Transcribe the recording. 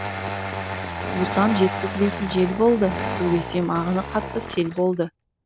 қусам жеткізбейтін жел болды бөгесем ағыны қатты сел болды